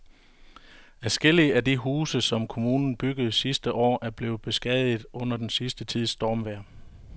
Adskillige af de huse, som kommunen byggede sidste år, er blevet beskadiget under den sidste tids stormvejr.